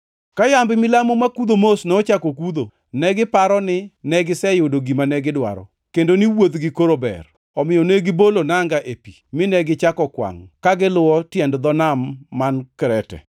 Ka yamb milambo makudho mos nochako kudho, negiparo ni ne giseyudo gima negidwaro kendo ni wuodhgi koro ber, omiyo negibolo nanga e pi mine gichako kwangʼ ka giluwo tiend dho nam mar Krete.